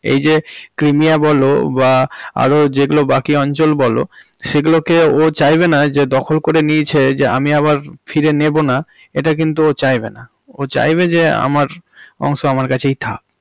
এই যে ক্রিমিয়া বলো বা আরো যেগুলো বাকি অঞ্চল বলো সেগুলো কে ও চাইবেনা যে দখল করে নিয়েছে যে আমি আবার ফিরে নেবোনা এটা কিন্তু ও চাইবে না। ও চাইবে যে আমার অংশ আমার কাছেই থাকে।